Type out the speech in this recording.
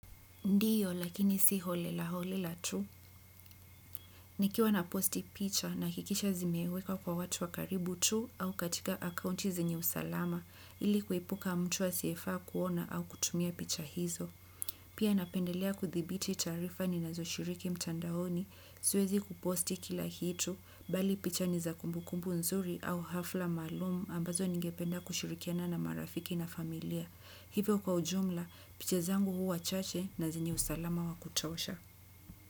Ndiyo lakini si holela holela tu. Nikiwa na posti picha nahakikisha zimewekwa kwa watu wa karibu tu au katika akaunti zenye usalama ili kuepuka mtu asiyefaa kuona au kutumia picha hizo. Pia napendelea kuthibiti taarifa ninazo shiriki mtandaoni siwezi kuposti kila kitu bali picha ni za kumbukumbu nzuri au hafla maalumu ambazo ningependa kushirikiana na marafiki na familia. Hivyo kwa ujumla, picha zangu huwa chache na zenye usalama wa kutosha.